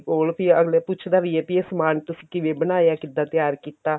ਕੋਲ ਵੀ ਅਗਲੇ ਪੁੱਛਦਾ ਵੀ ਏ ਵੀ ਇਹ ਸਮਾਨ ਤੁਸੀਂ ਕਿਵੇਂ ਬਣਾਇਆ ਕਿਵੇਂ ਤਿਆਰ ਕੀਤਾ